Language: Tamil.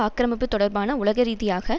ஆக்கிரமிப்பு தொடர்பான உலகரீதியாக